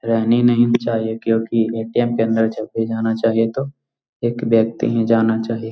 रहनी नहीं चाहिए क्यूंकि ए.टी.एम. के अंदर जब भी जाना चाहिए तो एक व्यक्ति ही जाना चाहिए।